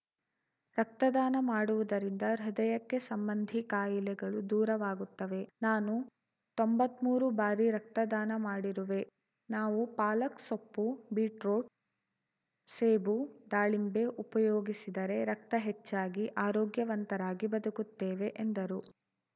ರಕ್ತದಾನ ಮಾಡುವುದರಿಂದ ಹೃದಯಕ್ಕೆ ಸಂಬಂಧಿ ಕಾಯಿಲೆಗಳು ದೂರವಾಗುತ್ತವೆ ನಾನೂ ತೊಂಬತ್ಮೂರು ಬಾರಿ ರಕ್ತದಾನ ಮಾಡಿರುವೆ ನಾವು ಪಾಲಕ್‌ಸೊಪ್ಪು ಬೀಟ್‌ರೋಟ್‌ ಸೇಬು ದಾಳಿಂಬೆ ಉಪಯೋಗಿಸಿದರೆ ರಕ್ತ ಹೆಚ್ಚಾಗಿ ಆರೋಗ್ಯವಂತರಾಗಿ ಬದುಕುತ್ತೇವೆ ಎಂದರು